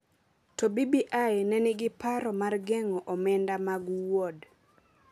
To BBI ne nigi paro mar geng’o omenda mag Wuod